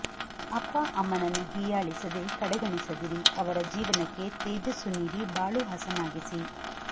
ಅಪ್ಪಅಮ್ಮನನ್ನು ಹೀಯಾಳಿಸದೆ ಕಡೆಗಣಿಸದಿರಿ ಅವರ ಜೀವನಕ್ಕೆ ತೇಜಸ್ಸು ನೀಡಿ ಬಾಳು ಹಸನಾಗಿಸಿ